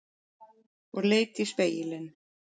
Og leit í spegilinn.